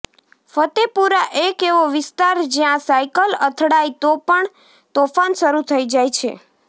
ફતેપુરા ઃ એક એવો વિસ્તાર જયાં સાયકલ અથડાય તો પણ તોફાન શરુ થઈ જાય છે